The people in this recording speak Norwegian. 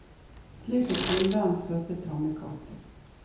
Slik fikk kvinnen verdens første tamme katt.